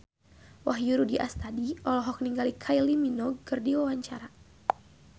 Wahyu Rudi Astadi olohok ningali Kylie Minogue keur diwawancara